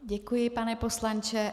Děkuji, pane poslanče.